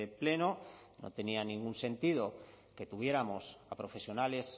pleno no tenía ningún sentido que tuviéramos a profesionales